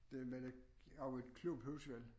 Det vel ikke jo et klubhus vel